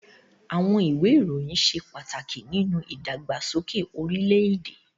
Àwọn ìwé ìròyìn ṣe pàtàkì nínú ìdàgbàsókè orílẹ̀-èdè.